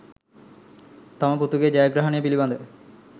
තම පුතුගේ ජයග්‍රහණය පිළිබඳ